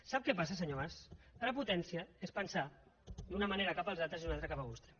sap què passa senyor mas prepotència és pensar d’una manera cap als altres i d’una altra cap a vostè